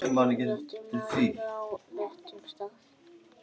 réttur maður á réttum stað.